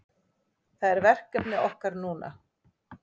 Það er verkefni okkar núna